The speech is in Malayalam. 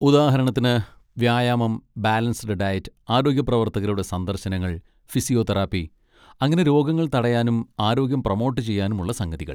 ഉദാഹരണത്തിന്, വ്യായാമം, ബാലൻസ്ഡ് ഡയറ്റ്, ആരോഗ്യപ്രവർത്തകരുടെ സന്ദർശനങ്ങൾ, ഫിസിയോതെറാപ്പി, അങ്ങനെ രോഗങ്ങൾ തടയാനും ആരോഗ്യം പ്രൊമോട്ട് ചെയ്യാനും ഉള്ള സംഗതികൾ.